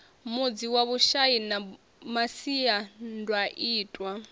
mudzi wa vhushai na masiandaitwa